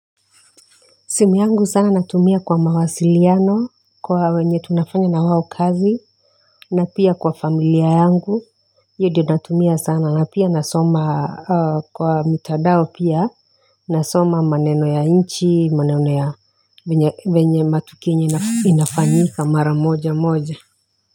Simu yangu sana natumia kwa mawasiliano, kwa wenye tunafanya na wao kazi, na pia kwa familia yangu, hiyo ndiyo natumia sana, na pia nasoma kwa mitandao pia, nasoma maneno ya nchi, maneno ya venye matukio yenye inafanyika mara moja moja.